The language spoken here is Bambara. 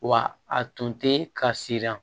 Wa a tun tɛ ka siran